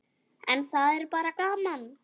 En það er bara gaman.